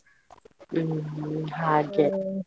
ಹ್ಮ್ ಹ್ಮ್ .